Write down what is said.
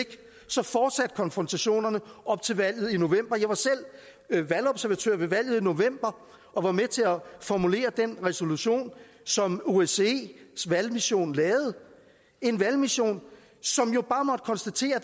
så fortsatte konfrontationerne op til valget i november jeg var selv valgobservatør ved valget i november og var med til at formulere den resolution som osces valgmission lavede en valgmission som jo bare måtte konstatere